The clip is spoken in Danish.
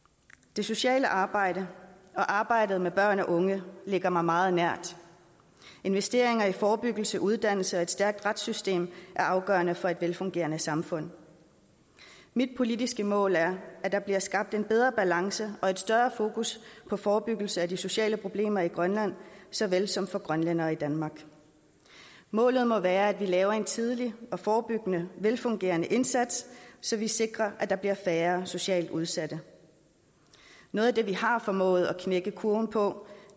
det sociale arbejde og arbejdet med børn og unge ligger mig meget nært investeringer i forebyggelse uddannelse og et stærkt retssystem er afgørende for et velfungerende samfund mit politiske mål er at der bliver skabt en bedre balance og et større fokus på forebyggelse af de sociale problemer i grønland såvel som for grønlændere i danmark målet må være at vi laver en tidlig og forebyggende velfungerende indsats så vi sikrer at der bliver færre socialt udsatte noget af det vi har formået at knække kurven på